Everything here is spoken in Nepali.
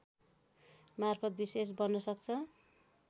मार्फत विशेष बन्न सक्छ